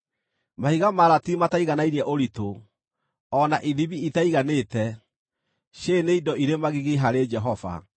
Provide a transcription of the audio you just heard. Mahiga ma ratiri mataiganainie ũritũ, o na ithimi itaiganĩte: cierĩ nĩ indo irĩ magigi harĩ Jehova.